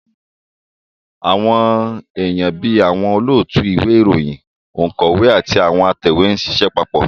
Àwọn èèyàn bí àwọn olóòtú ìwé ìròyìn, ònkọ́wé àti atẹ̀wé ń ṣiṣẹ́ papọ̀